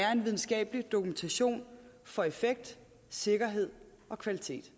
er en videnskabelig dokumentation for effekt sikkerhed og kvalitet